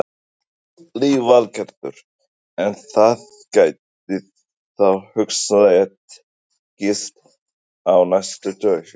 Lillý Valgerður: En það gæti þá hugsanlega tekist á næstu dögum?